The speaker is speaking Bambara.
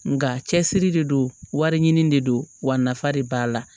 Nga cɛsiri de don wari ɲini de don wa nafa de b'a la